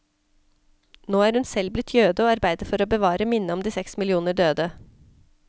Nå er hun selv blitt jøde og arbeider for å bevare minnet om de seks millioner døde.